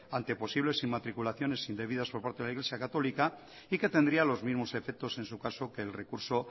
ante posibles inmatriculaciones indebidas por parte de la iglesia católica y que tendría los mismos efectos en su caso que el recurso